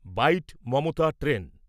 byte Mamata train